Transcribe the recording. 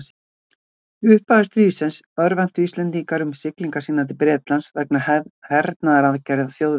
Í upphafi stríðsins örvæntu Íslendingar um siglingar sínar til Bretlands vegna hernaðaraðgerða Þjóðverja.